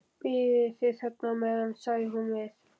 Bíðið þið bara á meðan, sagði hún við